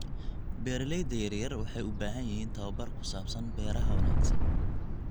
Beeralayda yaryar waxay u baahan yihiin tababar ku saabsan beeraha wanaagsan.